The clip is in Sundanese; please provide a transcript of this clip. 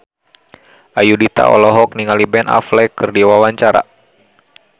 Ayudhita olohok ningali Ben Affleck keur diwawancara